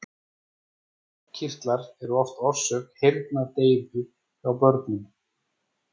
Nefkirtlar eru oft orsök heyrnardeyfu hjá börnum.